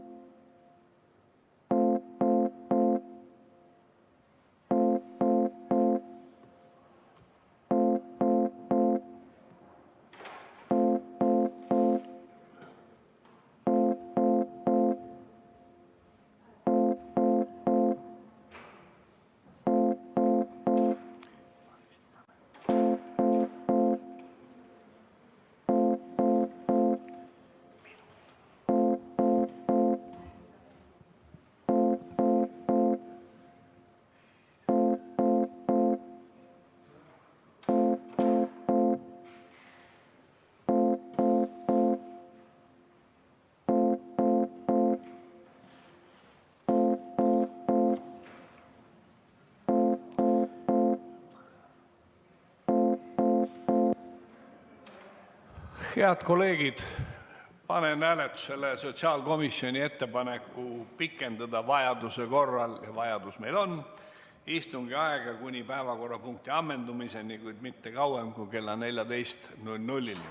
Head kolleegid, panen hääletusele sotsiaalkomisjoni ettepaneku pikendada vajaduse korral – ja vajadus meil on – istungi aega kuni päevakorrapunkti ammendumiseni, kuid mitte kauem kui kella 14‑ni.